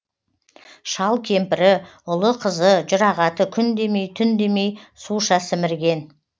шал кемпірі ұлы қызы жұрағаты күн демей түн демей суша сімірген